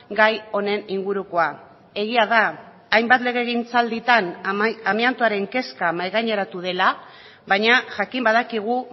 gai honen ingurukoa egia da hainbat legegintzalditan amiantoaren kezka mahai gaineratu dela baina jakin badakigu